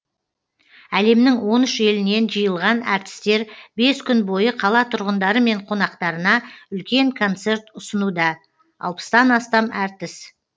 әлемнің он үш елінен жиылған әртістер бес күн бойы қала тұрғындары мен қонақтарына үлкен концерт ұсынуда алпыстан астам әртіс